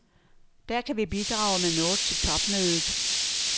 Der kan vi bidrage med noget til topmødet.